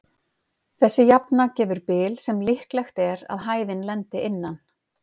Þessi jafna gefur bil sem líklegt er að hæðin lendi innan.